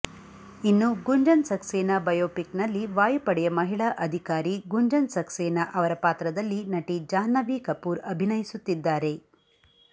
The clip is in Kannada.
ಇನ್ನು ಗುಂಜನ್ ಸಕ್ಸೇನಾ ಬಯೋಪಿಕ್ನಲ್ಲಿ ವಾಯುಪಡೆಯ ಮಹಿಳಾ ಅಧಿಕಾರಿ ಗುಂಜನ್ ಸಕ್ಸೇನಾ ಅವರ ಪಾತ್ರದಲ್ಲಿ ನಟಿ ಜಾಹ್ನವಿ ಕಪೂರ್ ಅಭಿನಯಿಸುತ್ತಿದ್ದಾರೆ